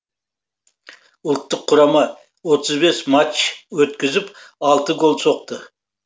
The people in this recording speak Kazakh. ұлттық құрама отыз бес матч өткізіп алты гол соқты